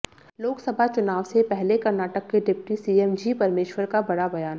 लोकसभा चुनाव से पहले कर्नाटक के डिप्टी सीएम जी परमेश्वर का बड़ा बयान